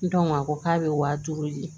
a ko k'a bɛ wa duuru di